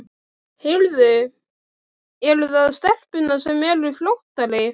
Heyrðu, eru það stelpurnar sem eru fljótari?